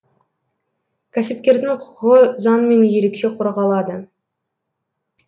кәсіпкердің құқығы заңмен ерекше қорғалады